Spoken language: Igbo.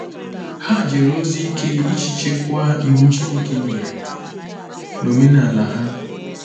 Ha jere ozi ike iji chekwaa Iwu Chineke nyere na omenala ha.